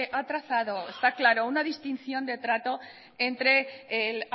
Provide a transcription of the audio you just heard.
ha trazado está claro una distinción de trato entre el